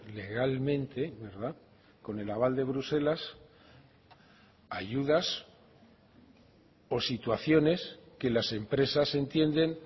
legalmente con el aval de bruselas ayudas o situaciones que las empresas entienden